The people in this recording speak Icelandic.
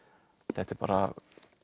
þetta er bara